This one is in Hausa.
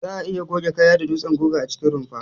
Za'a iya goge kaya da dutsen guga a cikin rumfa.